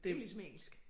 Det jo ligesom engelsk